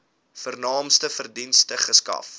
vernaamste dienste verskaf